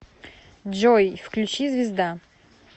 джой включи звезда